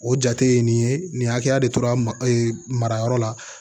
O jate ye nin ye nin hakɛya de tora marayɔrɔ la